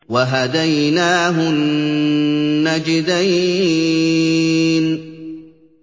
وَهَدَيْنَاهُ النَّجْدَيْنِ